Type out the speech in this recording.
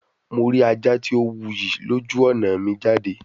Mo ri aja ti o wuyi loju ọna mi jade